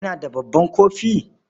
kina da babban kofi?